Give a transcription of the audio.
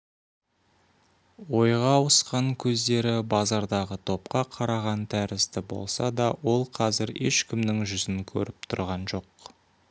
ойға ауысқан көздері базардағы топқа қараған тәрізді болса да ол қазір ешкімнің жүзін көріп тұрған жоқ